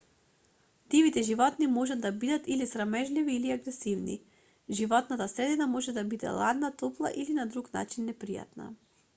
дивите животни можат да бидат или срамежливи или агресивни животната средина може да биде ладна топла или на друг начин непријатна